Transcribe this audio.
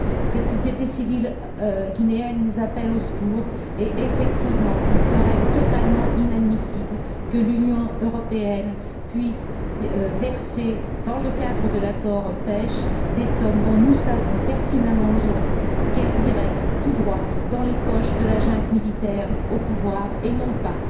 Cette société civile guinéenne nous appelle au secours et effectivement il serait totalement inadmissible que l'Union européenne puisse verser, dans le cadre de l'accord de pêche, des sommes dont nous savons pertinemment aujourd'hui qu'elles iraient tout droit dans les poches de la junte militaire au pouvoir et non pas